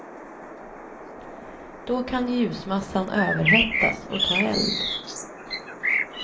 Då kan ljusmassan överhettas och ta eld.